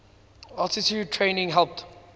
altitude training helped